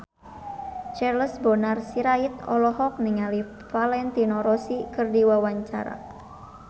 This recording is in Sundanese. Charles Bonar Sirait olohok ningali Valentino Rossi keur diwawancara